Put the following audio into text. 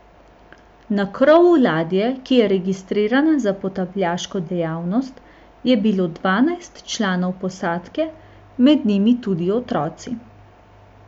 Na krovu ladje, ki je registrirana za potapljaško dejavnost, je bilo dvanajst članov posadke, med njimi tudi otroci.